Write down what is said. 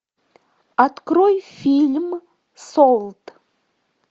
открой фильм солт